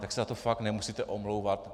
Tak se za to fakt nemusíte omlouvat.